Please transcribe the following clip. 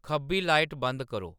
खब्बी लाइट बंद करो